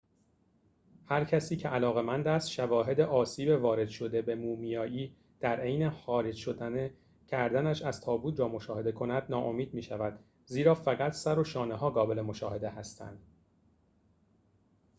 هرکسی که علاقه‌مند است شواهد آسیب وارد شده به مومیایی در حین خارج کردنش از تابوت را مشاهده کند ناامید می‌شود زیرا فقط سر و شانه‌ها قابل مشاهده هستند